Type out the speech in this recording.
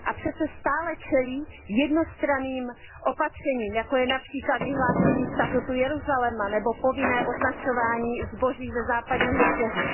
A přece stále čelí jednostranným opatřením, jako je například vyhlášení statutu Jeruzaléma nebo povinné označování zboží ze Západního břehu.